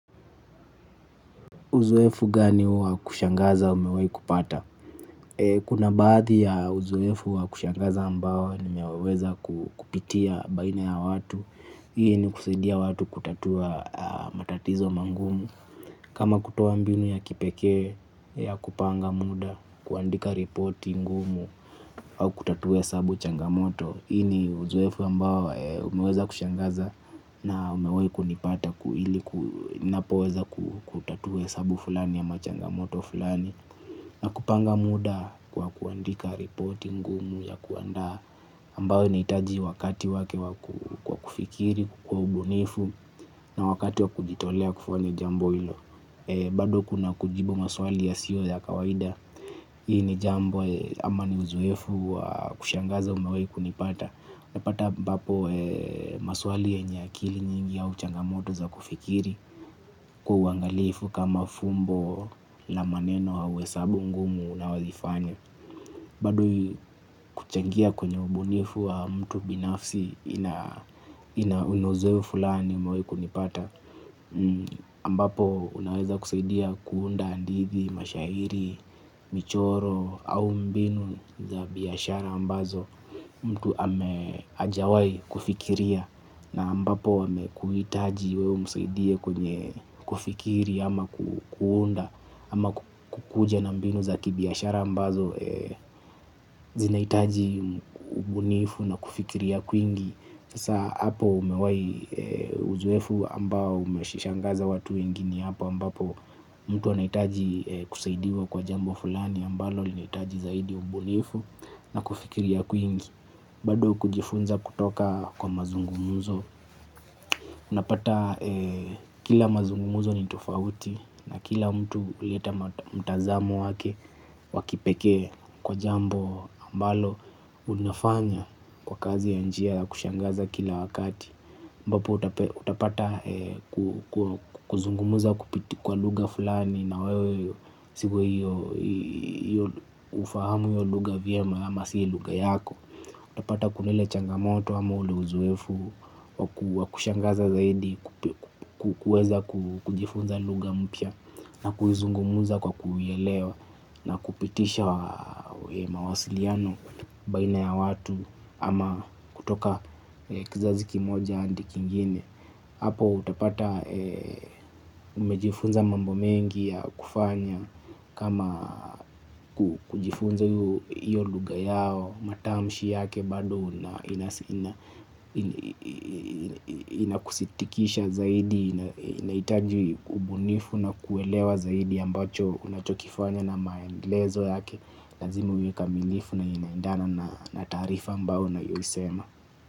Uzoefu gani wa kushangaza umewahi kupata? Kuna baadhi ya uzoefu wa kushangaza ambao nimeweza kupitia baina ya watu. Hii ni kusaidia watu kutatua matatizo mangumu. Kama kutoa mbinu ya kipekee ya kupanga muda, kuandika ripoti ngumu au kutatua hesabu changamoto. Hii ni uzoefu ambao umeweza kushangaza na umewahi kunipata ku ili napoweza kutatua hesabu fulani ama changamoto fulani. Na kupanga muda kwa kuandika ripoti ngumu ya kuandaa ambao inahitaji wakati wake wa kufikiri kukua ubunifu na wakati wa kujitolea kufanya jambo hilo. Bado kuna kujibu maswali yasiyo ya kawaida. Hii ni jambo ama ni uzoefu wa kushangaza umewahi kunipata. Unapata ambapo maswali yenye akili nyingi au changamoto za kufikiri kwa uangalifu kama fumbo na maneno au hesabu ngumu na huwezi faya. Badui kuchangia kwenye ubunifu wa mtu binafsi ina unozeu fulani umewai kunipata ambapo unaweza kusaidia kuunda handithi mashairi, michoro au mbinu za biashara ambazo mtu ame hajawai kufikiria na ambapo amekuhitaji wewe umsaidie kwenye kufikiri ama kuunda ama kukuja na mbinu za kibiashara ambazo zinahitaji ubunifu na kufikiria kwingi. Hasa hapo umewai uzoefu ambao umeshishangaza watu wengi ni hapo ambapo mtu anaitaji kusaidiwa kwa jambo fulani ambalo linahitaji zaidi ubunifu na kufikiria kwingi. Bado kujifunza kutoka kwa mazungumuzo. Unapata kila mazungumuzo ni tofauti na kila mtu huleta mtazamo wake wa kipekee kwa jambo ambalo unafanya kwa kazi ya njia kushangaza kila wakati ambapo utapata kuzungumuza kupiti kwa lugha fulani na wewe sio ufahamu hiyo lugha vyema ama si lugha yako. Utapata kuna ile changamoto ama ule uzoefu wa kushangaza zaidi ku kuweza kujifunza lugha mpya na kuzungumuza kwa kuielewa na kupitisha mawasiliano baina ya watu ama kutoka kizazi kimoja hadi kingine. Hapo utapata umejifunza mambo mengi ya kufanya kama kujifunza iyo lugha yao matamshi yake bado inakusitikisha zaidi inahitaji ubunifu na kuelewa zaidi ambacho unachokifanya na maendelezo yake lazima uikaminifu na inaendana na taarifa ambao unayoisema.